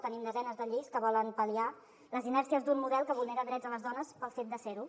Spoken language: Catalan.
tenim desenes de lleis que volen pal·liar les inèrcies d’un model que vulnera drets a les dones pel fet de ser ho